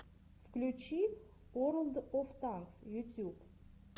включи уорлд оф танкс ютьюб